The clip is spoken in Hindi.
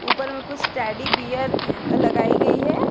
ऊपर में कुछ टैडी बियर लगाई गई है।